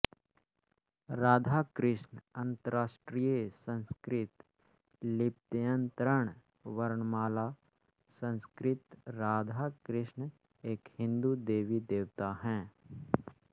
राधा कृष्ण अन्तर्राष्ट्रीय संस्कृत लिप्यन्तरण वर्णमाला संस्कृत राधा कृष्ण एक हिंदू देवीदेवता हैं